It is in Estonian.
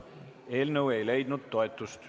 Eelnõu ei leidnud toetust.